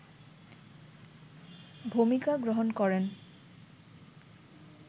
ভূমিকা গ্রহণ করেন